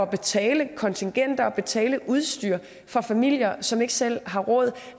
betale kontingent og betale udstyr for familier som ikke selv har råd